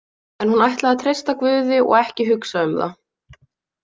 En hún ætlaði að treysta Guði og ekki að hugsa um það.